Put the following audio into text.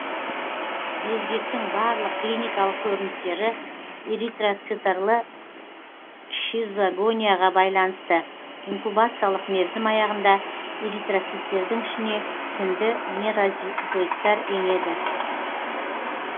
безгектің барлық клиникалық көріністері эритроцитарлы щизогонияға байланысты инкубациялық мерзім аяғында эритроциттердің ішіне тінді меразоиттар енеді